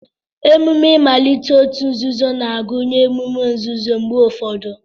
Emume mmalite òtù nzuzo na-agụnye emume nzuzo mgbe ụfọdụ